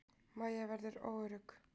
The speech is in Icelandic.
Mæja verður óörugg.